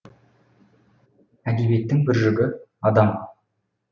әдебиеттің бір жүгі адам